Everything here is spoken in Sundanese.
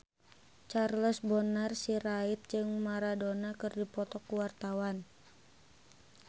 Charles Bonar Sirait jeung Maradona keur dipoto ku wartawan